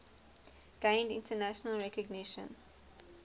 gained international recognition